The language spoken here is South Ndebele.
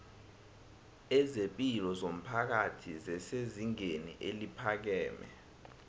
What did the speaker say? ezepilo zomphakathi zesezingeni eliphakeme